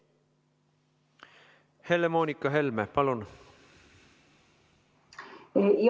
Helle-Moonika Helme, palun!